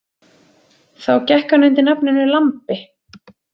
Þá gekk hann undir nafninu Lambi.